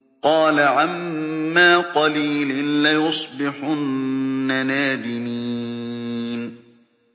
قَالَ عَمَّا قَلِيلٍ لَّيُصْبِحُنَّ نَادِمِينَ